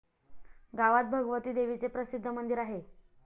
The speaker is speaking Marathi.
गावात भगवती देवीचे प्रसिद्ध मंदिर आहे.